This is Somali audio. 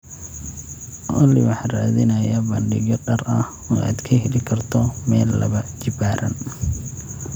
olly Waxaan raadinayaa bandhigyo dhar ah oo aad ka heli karto mayl laba jibaaran